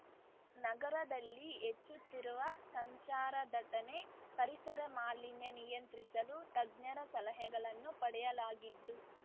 ನಗರದಲ್ಲಿ ಹೆಚ್ಚುತ್ತಿರುವ ಸಂಚಾರ ದಟ್ಟಣೆ ಪರಿಸರ ಮಾಲಿನ್ಯ ನಿಯಂತ್ರಿಸಲು ತಜ್ಞರ ಸಲಹೆಗಳನ್ನು ಪಡೆಯಲಾಗಿದ್ದು